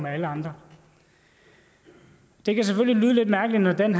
alle andre det kan selvfølgelig lyde lidt mærkeligt at man